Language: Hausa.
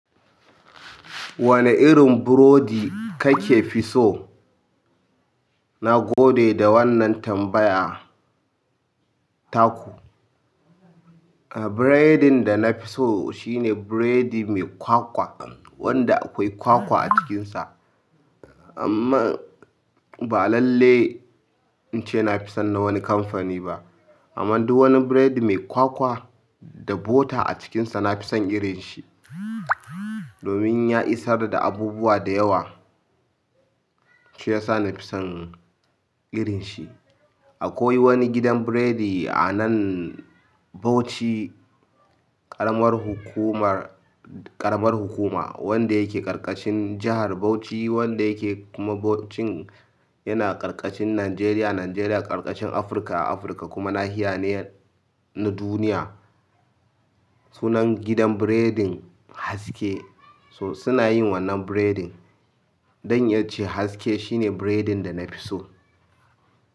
Wane irin burodi kake fi so? Na gode da wannan tambaya taku. Biredin da na fi so shine biredi mai kwakwa, wanda akwai kwakwa a cikinsa. Amma ba lalle in ce na fi son na wani kamfani ba. Amma duk wani biredi mai kwakwa da bota a cikinsa, na fi son irin shi. Domin ya isar da abubuwa da yawa, shi ya sa na fi son irin shi. Akwai wani gidan biredi a nan Bauchi, ƙaramar hukumar, ƙaramar hukuma wanda yake ƙarƙashin jahar Bauchi, wanda yake kuma Bauchin yana ƙarƙashin Najeriya. Najeriya ƙarƙashin Afirka, Afirka kuma nahiya ne na duniya. Sunan gidan Biredin Haske. To suna yin wannan biredin. Zan iya ce haske shine biredin da na fi so.